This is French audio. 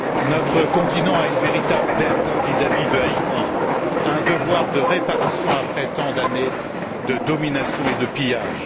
Notre continent a une véritable dette vis à vis d'Haïti, un devoir de réparation après tant d'années de domination et de pillages.